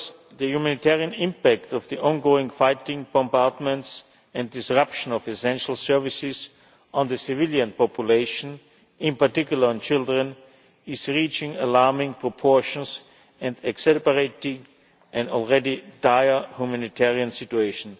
The humanitarian impact of the ongoing fighting, bombardments and disruption of essential services on the civilian population, in particular on children, is reaching alarming proportions and exacerbating an already dire humanitarian situation.